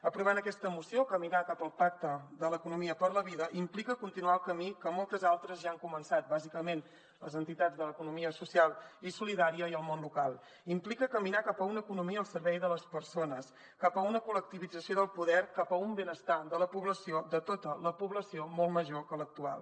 aprovar aquesta moció caminar cap al pacte de l’economia per la vida implica continuar el camí que moltes altres ja han començat bàsicament les entitats de l’economia social i solidària i el món local implica caminar cap a una economia al servei de les persones cap a una col·lectivització del poder cap a un benestar de la població de tota la població molt major que l’actual